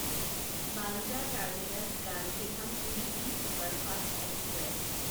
Bandra terminus Gandhidham weekly superfast express